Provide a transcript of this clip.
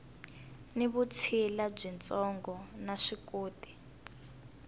ni vutshila byitsongo na vuswikoti